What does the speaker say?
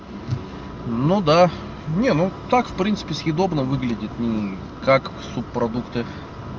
ну да не ну так в принципе съедобно выглядит не как субпродукты